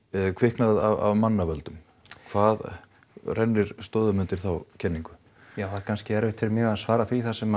kviknað af mannavöldum hvað rennir stoðum undir þá kenningu já það er kannski erfitt fyrir mig að svara því þar sem